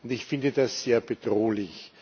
Ich finde das sehr bedrohlich!